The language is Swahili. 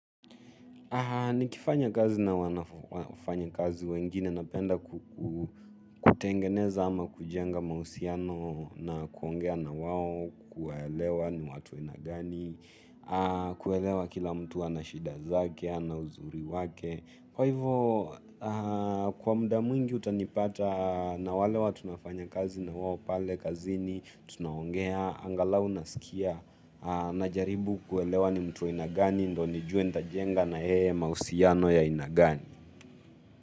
Nikifanya kazi na wanafanya kazi wengine napenda kutengeneza ama kujenga mahusiano na kuongea na wao, kuwaelewa ni watu wa aina gani, kuelewa kila mtu ana shida zake, ana uzuri wake. Kwa hivyo, kwa muda mwingi utanipata na wale watu tunafanya kazi na wao pale, kazini, tunaongea, angalau nasikia, na jaribu kuelewa ni mtu wa aina gani, ndo nijue nitajenga na yeye mahusiano ya aina gani.